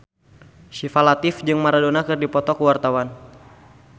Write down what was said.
Syifa Latief jeung Maradona keur dipoto ku wartawan